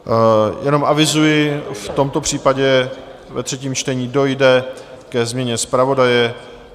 Jenom avizuji, v tomto případě ve třetím čtení dojde ke změně zpravodaje.